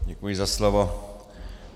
Děkuji za slovo.